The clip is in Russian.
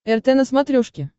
рт на смотрешке